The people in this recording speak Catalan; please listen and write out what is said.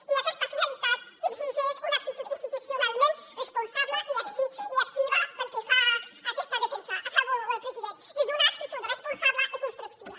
i aquesta finalitat exigeix una actitud institucionalment responsable i activa pel que fa a aquesta defensa acabo president des d’una actitud responsable i constructiva